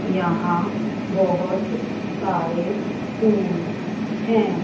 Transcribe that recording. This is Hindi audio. यहां बहुत सारे फूल हैं।